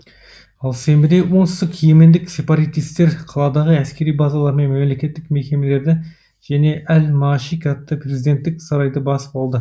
ал сенбіде оңтүстік йемендік сепаратистер қаладағы әскери базалар мен мемлекеттік мекемелерді және әл маашик атты президенттік сарайды басып алды